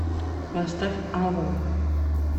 поставь авэм